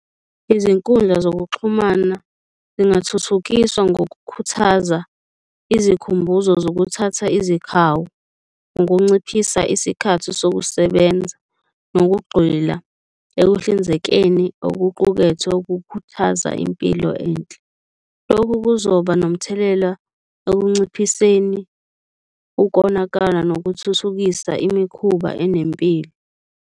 Izinkundla zokuxhumana zingathuthukiswa ngokukhuthaza izikhumbuzo zokuthatha izikhawu, ukunciphisa isikhathi sokusebenza nokugxila ekuhlinzekeni okuqukethwe okukhuthaza impilo enhle. Loku kuzoba nomthelela ekunciphiseni ukonakala nokuthuthukisa imikhuba enempilo.